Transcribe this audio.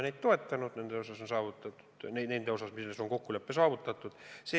Nende osas on kokkulepe saavutatud.